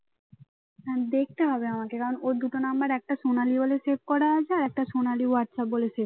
দেখতে হবে আমাকে কারণ ওর দুটো নাম্বার একটা সোনালী বলে save করা আছে আর একটা সোনালী হোয়াটসঅ্যাপ বলে save